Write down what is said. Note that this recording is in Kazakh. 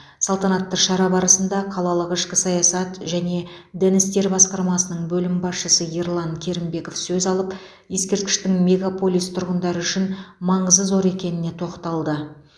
салтанатты шара барысында қалалық ішкі саясат және дін істер басқармасының бөлім басшысы ерлан керімбеков сөз алып ескерткіштің мегаполис тұрғындары үшін маңызы зор екеніне тоқталды